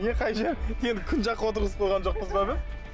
не қай жері енді күн жаққа отырғызып қойған жоқпыз ба біз